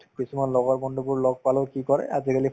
কিছুমান লগৰ বন্ধুবোৰ লগ পালেও কি কৰে এই আজিকালি